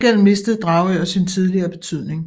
Til gengæld mistede Dragør sin tidligere betydning